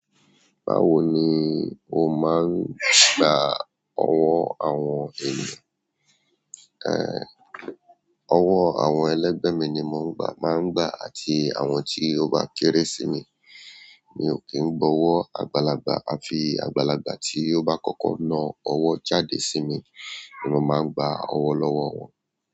Báwo ni o máa ń gba ọwọ́ àwọn ènìyàn? Ẹ̀, ọwọ́ àwọn ẹlẹ́gbẹ̀ mi ni mò ń gbà, máa ń gbà àti àwọn tí ó bá kere sí mi. Mi ò kí ń gba ọwọ́ àgbàlagbà, à fi àgbàlagbà tí ó bá kọ́kọ́ ná ọwọ́ jáde sí mi ni mo máa ń gba ọwọ́ lọ́wọ́ wọn.